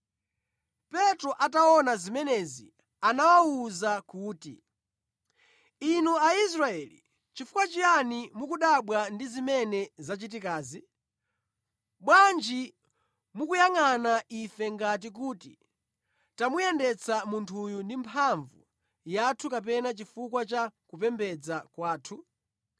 Petro ataona zimenezi anawawuza kuti, “Inu Aisraeli, chifukwa chiyani mukudabwa ndi zimene zachitikazi? Bwanji mukuyangʼana ife ngati kuti tamuyendetsa munthuyu ndi mphamvu yathu kapena chifukwa cha kupembedza kwathu?